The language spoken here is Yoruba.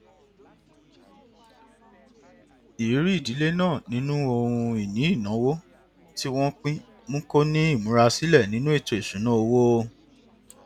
ìrírí ìdílé náà nínú ohun ìní ìnáwó tí wọn pín mú kó ní ìmúrasílẹ nínú ètò ìṣúnná owó